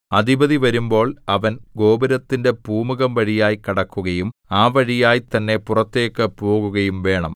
അധിപതി വരുമ്പോൾ അവൻ ഗോപുരത്തിന്റെ പൂമുഖംവഴിയായി കടക്കുകയും ആ വഴിയായി തന്നെ പുറത്തേക്ക് പോകുകയും വേണം